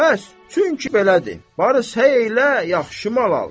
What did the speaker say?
Bəs, çünki belədir, varıs elə yaxşı mal al.